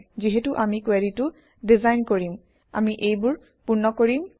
যিহেতু আমি কুৱেৰিটো ডিজাইন কৰিম আমি এইবোৰ পূৰ্ণ কৰিম